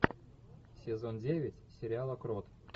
сезон девять сериала крот